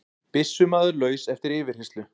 Byssumaður laus eftir yfirheyrslu